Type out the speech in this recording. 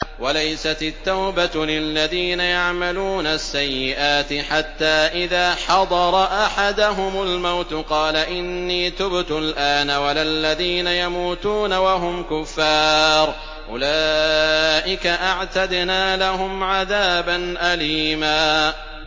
وَلَيْسَتِ التَّوْبَةُ لِلَّذِينَ يَعْمَلُونَ السَّيِّئَاتِ حَتَّىٰ إِذَا حَضَرَ أَحَدَهُمُ الْمَوْتُ قَالَ إِنِّي تُبْتُ الْآنَ وَلَا الَّذِينَ يَمُوتُونَ وَهُمْ كُفَّارٌ ۚ أُولَٰئِكَ أَعْتَدْنَا لَهُمْ عَذَابًا أَلِيمًا